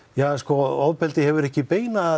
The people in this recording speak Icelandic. ofbeldi hefur ekki